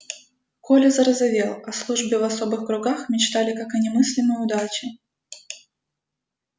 коля зарозовел о службе в особых кругах мечтали как о немыслимой удаче